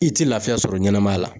I tɛ lafiya sɔrɔ ɲɛnamaya la.